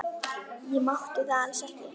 Ég mátti það alls ekki.